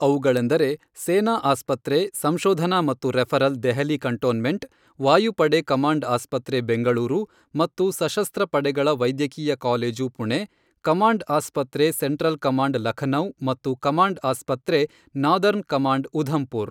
ಅವುಗಳೆಂದರೆ ಸೇನಾ ಆಸ್ಪತ್ರೆ ಸಂಶೋಧನಾ ಮತ್ತು ರೆಫರೆಲ್ ದೆಹಲಿ ಕಂಟೋನ್ಮೆಂಟ್ ವಾಯುಪಡೆ ಕಮಾಂಡ್ ಆಸ್ಪತ್ರೆ ಬೆಂಗಳೂರು ಮತ್ತು ಸಶಸ್ತ್ರ ಪಡೆಗಳ ವೈದ್ಯಕೀಯ ಕಾಲೇಜು ಪುಣೆ ಕಮಾಂಡ್ ಆಸ್ಪತ್ರೆ ಸೆಂಟ್ರಲ್ ಕಮಾಂಡ್ ಲಖನೌ ಮತ್ತು ಕಮಾಂಡ್ ಆಸ್ಪತ್ರೆ ನಾದರ್ನ್ ಕಮಾಂಡ್ ಉಧಂಪುರ್.